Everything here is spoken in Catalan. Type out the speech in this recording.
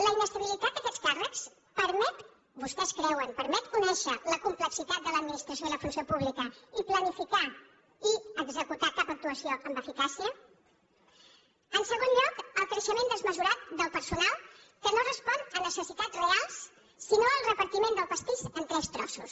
la inestabilitat d’aquests càrrecs permet vostès creuen conèixer la complexitat de l’administració i la funció pública i planificar i executar cap actuació amb eficàcia en segon lloc el creixement desmesurat del personal que no respon a necessitats reals sinó al repartiment del pastís en tres trossos